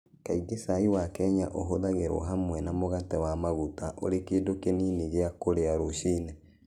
Kaingĩ cai wa Kenya ũhũthagĩrũo hamwe na mũgate na maguta ũrĩ kĩndũ kĩnini gĩa kũrĩa rũcinĩ.